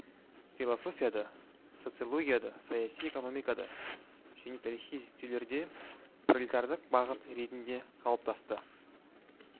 философияда социологияда саяси экономикада және тарихи зерттеулерде пролетарлық бағыт ретінде қалыптасты